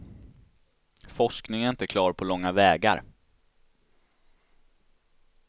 Forskningen är inte klar på långa vägar.